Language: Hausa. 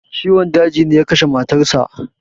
Ciwon daji ne ya kashe matar sa.